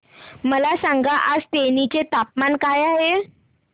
मला सांगा आज तेनी चे तापमान काय आहे